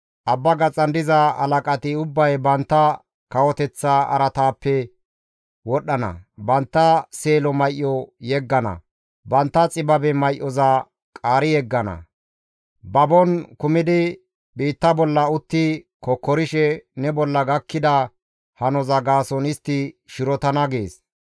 Abba gaxan diza halaqati ubbay bantta kawoteththa araataappe wodhdhana. Bantta seelo may7o yeggana; bantta xibabe may7oza qaari yeggana. Babon kumidi biitta bolla utti kokkorishe ne bolla gakkida hanoza gaason istti shirotana› gees.